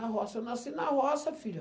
Na roça. Eu nasci na roça, filha.